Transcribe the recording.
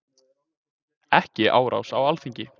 Ekki árás á Alþingi